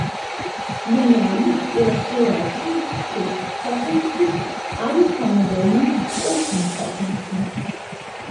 Menjalnik je lahko ročni šeststopenjski ali samodejni osemstopenjski.